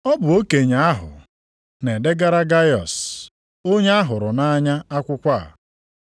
Ọ bụ okenye ahụ, Na-edegara Gaiọs, onye ahụrụ nʼanya akwụkwọ a, bụ onye m hụrụ nʼanya nʼeziokwu.